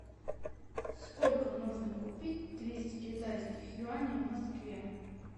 сколько можно купить двести китайских юаней в москве